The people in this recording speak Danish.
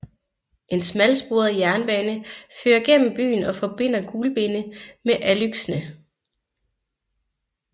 En smalsporet jernbane fører gennem byen og forbinder Gulbene med Alūksne